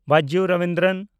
Byju Ravindran